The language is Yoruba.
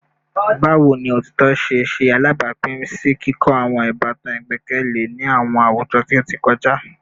Bawo ni otitọ ṣe ṣe alabapin si kikọ awọn ibatan igbẹkẹle ni awọn awujọ ti o kọja?